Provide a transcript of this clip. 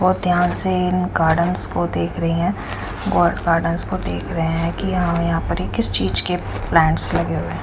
बहोत ध्यान से इन गार्डेन्स को देख रही है। गॉड गार्डन को देख रहे है कि यहां वहां पे ये किस चीज के प्लांट्स लगे हुए है?